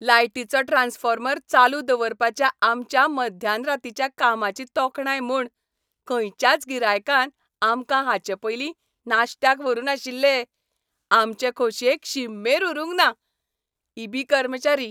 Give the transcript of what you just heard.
लायटीचो ट्रान्सफॉर्मर चालू दवरपाच्या आमच्या मध्यानरातीच्या कामाची तोखणाय म्हूण खंयच्याच गिरायकान आमकां हाचेपयलीं नाश्त्याक व्हरू नाशिल्ले. आमचे खोशयेक शीममेर उरूंक ना. ई. बी. कर्मचारी